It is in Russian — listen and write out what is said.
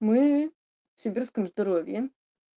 мы в сибирском здоровье